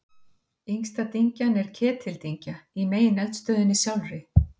yngsta dyngjan er ketildyngja í megineldstöðinni sjálfri